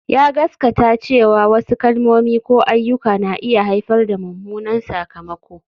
Ya gaskata cewa wasu kalmomi ko ayyuka na iya haifar da mummunan sakamako